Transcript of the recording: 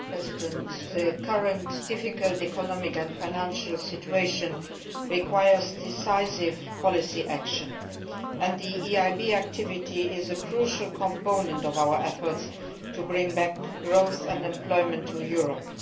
Madam President, the current difficult economic and financial situation requires decisive policy action, and the EIB's activity is a crucial component of our efforts to bring back growth and employment to Europe.